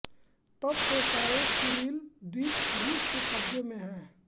तब से सारे कुरील द्वीप रूस के क़ब्ज़े में हैं